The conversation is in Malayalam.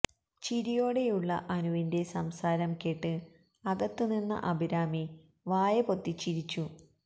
ചിരിയോടെയുള്ള അനുവിന്റെ സംസാരം കേട്ട് അകത്ത് നിന്ന അഭിരാമി വായ പൊത്തിച്ചിരിച്ചു